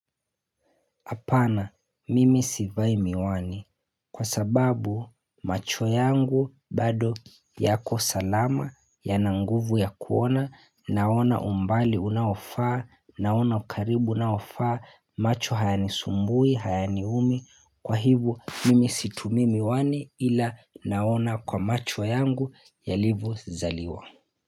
Apana mimi sivai miwani kwa sababu macho yangu bado yako salama yana nguvu ya kuona naona umbali unaofaa naona ukaribu unaofaa macho hayanisumbui hayaniumi kwa hivyo mimi situmi miwani ila naona kwa macho yangu ya livo zaliwa.